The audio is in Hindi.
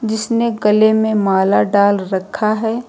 उसने गले में माला डाल रखा है।